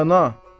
Rəna.